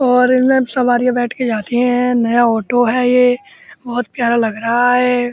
और इनमें सवारियां बैठके जाती हैं। नया ऑटो है ये। बहोत प्यारा लग रहा है।